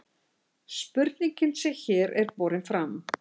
spurningin sem hér er borin fram